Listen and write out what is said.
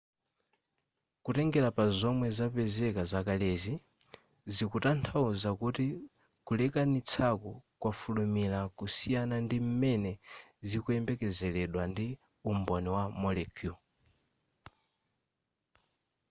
kutengera pa zomwe zapezeka zakalezi zikutanthauza kuti kulekanitsaku kwafulumira kusiyana ndi m'mene zikuyembekezeredwa ndi umboni wa molecule